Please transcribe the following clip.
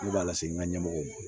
Ne b'a lase n ka ɲɛmɔgɔw ma